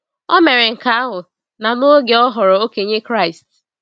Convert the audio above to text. O mere nke ahụ, na n’oge, ọ ghọrọ okenye Kraịst.